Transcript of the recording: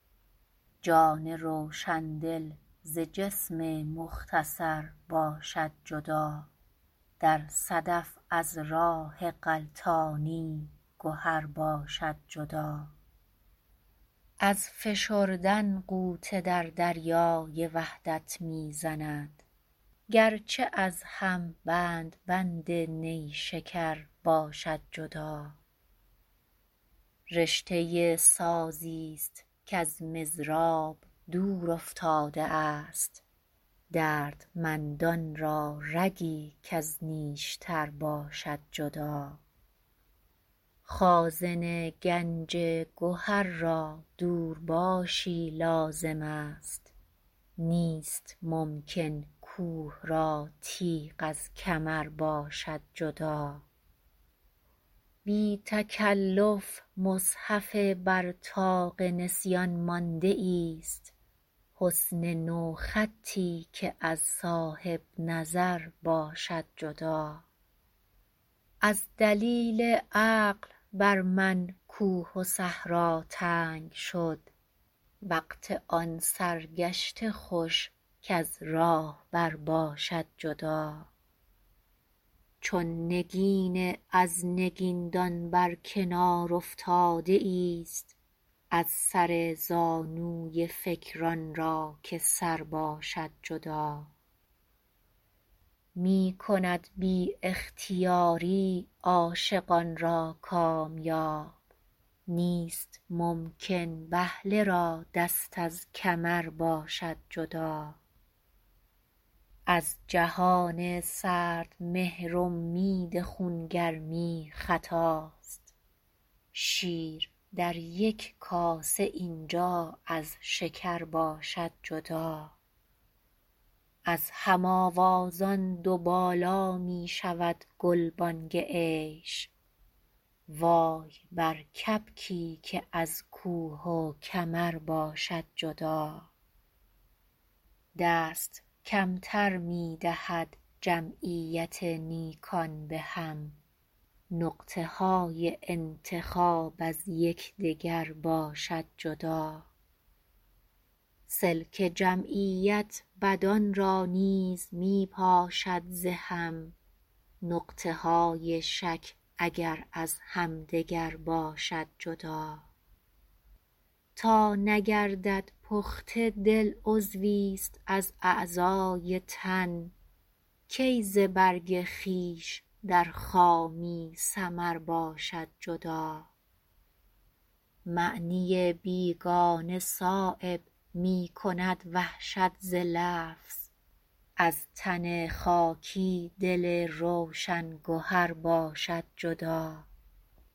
جان روشندل ز جسم مختصر باشد جدا در صدف از راه غلطانی گهر باشد جدا از فشردن غوطه در دریای وحدت می زند گرچه از هم بند بند نیشکر باشد جدا رشته سازی است کز مضراب دور افتاده است دردمندان را رگی کز نیشتر باشد جدا خازن گنج گهر را دورباشی لازم است نیست ممکن کوه را تیغ از کمر باشد جدا بی تکلف مصحف بر طاق نسیان مانده ایست حسن نوخطی که از صاحب نظر باشد جدا از دلیل عقل بر من کوه و صحرا تنگ شد وقت آن سرگشته خوش کز راهبر باشد جدا چون نگین از نگیندان بر کنار افتاده ایست از سر زانوی فکر آن را که سر باشد جدا می کند بی اختیاری عاشقان را کامیاب نیست ممکن بهله را دست از کمر باشد جدا از جهان سردمهر امید خونگرمی خطاست شیر در یک کاسه اینجا از شکر باشد جدا از هم آوازان دو بالا می شود گلبانگ عیش وای بر کبکی که از کوه و کمر باشد جدا دست کمتر می دهد جمعیت نیکان به هم نقطه های انتخاب از یکدگر باشد جدا سلک جمعیت بدان را نیز می پاشد ز هم نقطه های شک اگر از همدگر باشد جدا تا نگردد پخته دل عضوی ست از اعضای تن کی ز برگ خویش در خامی ثمر باشد جدا معنی بیگانه صایب می کند وحشت ز لفظ از تن خاکی دل روشن گهر باشد جدا